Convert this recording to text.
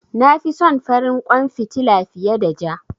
Na fi son farin kwan fitila fiye da ja.